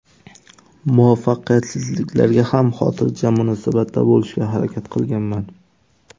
Muvaffaqiyatsizliklarga ham xotirjam munosabatda bo‘lishga harakat qilganman.